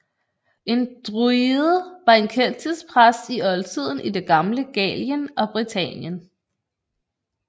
En druide var en keltisk præst i oldtiden i det gamle Gallien og Britannien